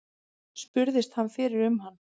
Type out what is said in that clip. Spurðist hann fyrir um hann.